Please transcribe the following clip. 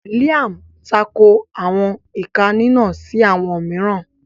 Liam tako awọn ika ika si awọn miiran